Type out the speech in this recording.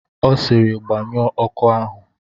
Ọ sịrị, gbanyụọ ọkụ ahụ!